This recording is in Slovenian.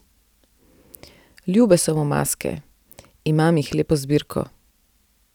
Ljube so mu maske: 'Imam jih lepo zbirko.